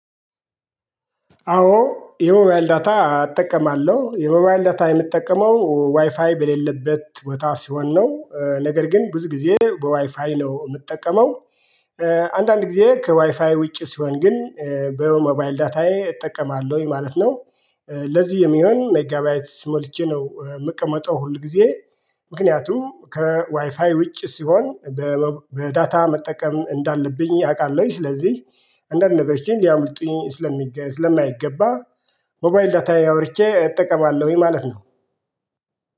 አዎ የሞባይል ዳታ አጠቀማለሁ የሞባይል ዳታ የምጠቀመው ዋይፋይ በሌለበት ቦታ ስሆን ነው ነገር ግን ብዙ ጊዜ በዋይፋይ ነው የምጠቀመው አንዳንድ ጊዜ ከዋይፋይ ውጪ ሲሆን ግን በሞባይል ዳታዬ እጠቀማለሁኝ ማለት ነው ለዚህ የሚሆን ሜጋባይት ሞልቼ ነው የምቀመጠው ሁል ጊዜ ምክንያቱም ከዋይፋይ ውጭ ሲሆን በዳታ መጠቀም እንዳለብኝ አቃለሁኝ። ስለዚህ እንዳንድ ነገሮችን እንዲያምልጡኝ ስለማይገባ ሞባይል ዳታዬ አብርቼ እጠቀማለሁኝ ማለት ነው።